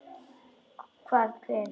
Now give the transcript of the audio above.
Hvað, hver?